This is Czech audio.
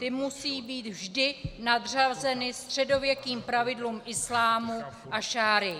Ty musí být vždy nadřazeny středověkým pravidlům islámu a šaríi.